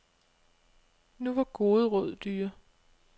Nu var gode råd dyre.